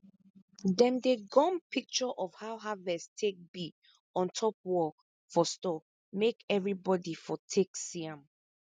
dem dey gum picture of how havest take be on top wall for store make everibodi for take see am